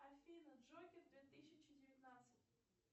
афина джокер две тысячи девятнадцать